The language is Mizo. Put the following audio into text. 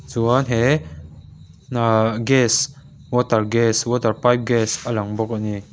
chuan he hna gas water gas water pipe gas a lang bawk a ni.